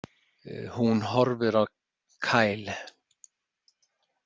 Hún horfir á Kyle.